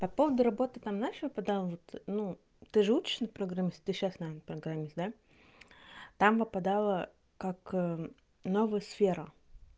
по поводу работы там нашего поддаваться ну ты же учишься на программиста ты сейчас на программист да там выпадало как новый сфера